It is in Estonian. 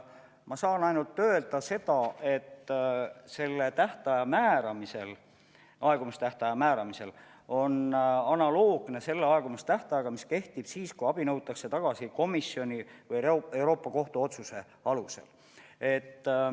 Ma saan ainult öelda, et sellise aegumistähtaja määramine on analoogne selle aegumistähtajaga, mis kehtib siis, kui abi nõutakse tagasi komisjoni või Euroopa Kohtu otsuse alusel.